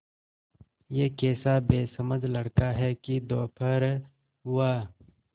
यह कैसा बेसमझ लड़का है कि दोपहर हुआ